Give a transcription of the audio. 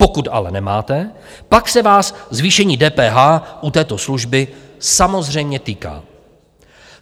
Pokud ale nemáte, pak se vás zvýšení DPH u této služby samozřejmě týká.